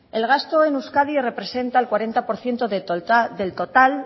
el gasto en euskadi representa el cuarenta por ciento del total